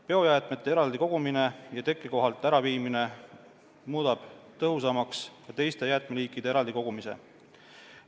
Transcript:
Biojäätmete eraldi kogumine ja tekkekohalt äraviimine muudab tõhusamaks ka teist liiki jäätmete eraldi kogumise.